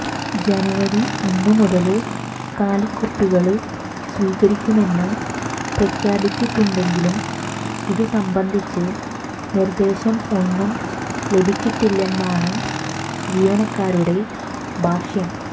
ജനുവരി ഒന്നുമുതല് കാലിക്കുപ്പികള് സ്വീകരിക്കുമെന്ന് പ്രഖ്യാപിച്ചിട്ടുണ്ടെങ്കിലും ഇതുസംബന്ധിച്ച് നിര്ദേശം ഒന്നും ലഭിച്ചിട്ടില്ലെന്നാണ് ജീവനക്കാരുടെ ഭാഷ്യം